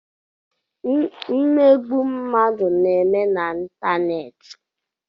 mmegbu mmadu na-eme n'ịntanetị